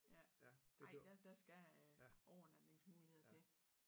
Ja ej der der skal øh overnatningsmuligheder til